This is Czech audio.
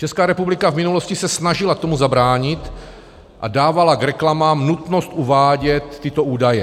Česká republika v minulosti se snažila tomu zabránit a dávala k reklamám nutnost uvádět tyto údaje.